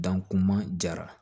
Dan kun ma jara